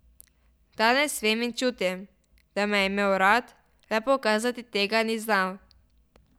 Danes vem in čutim, da me je imel rad, le pokazati tega ni znal.